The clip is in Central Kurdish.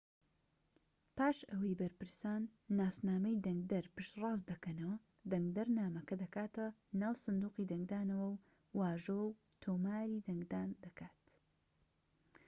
پاش ئەوەی بەرپرسان ناسنامەی دەنگدەر پشت ڕاست دەکەنەوە دەنگدەر نامەکە دەکاتە ناو سندوقی دەنگدانەوە و واژۆی تۆماری دەنگدان دەکات